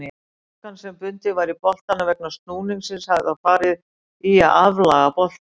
Orkan sem bundin var í boltanum vegna snúningsins hefur þá farið í að aflaga boltann.